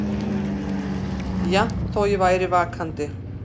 Jafnt þó ég væri vakandi.